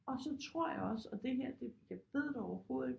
Og så tror jeg også og det her jeg ved det overhovedet ikke